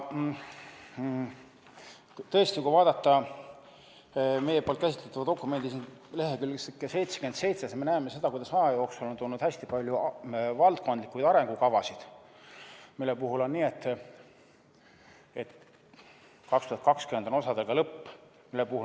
Kui vaadata käsitletava dokumendi lehekülge 77, siis me näeme seda, kuidas aja jooksul on tulnud hästi palju valdkondlikke arengukavasid, mille puhul on nii, et 2020 on osadega lõpp.